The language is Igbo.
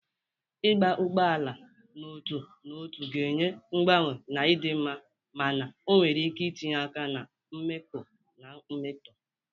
Ịgba ugbo ala n'otu n'otu ga-enye mgbanwe na ịdị mma mana ọ nwere ike itinye aka na mkpọkọ na mmetọ.